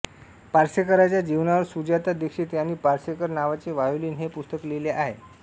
पार्सेकरांच्या जीवनावर सुजाता दीक्षित यांनी पार्सेकर नावाचे व्हायोलीन हे पुस्तक लिहिले आहे